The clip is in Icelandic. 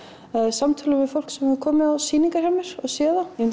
samtölum við fólk sem hefur komið á sýningar hjá mér og séð